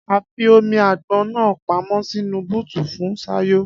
Afi omi àgbọn náà pamó sínú bọ́ọ́tù fún Sayò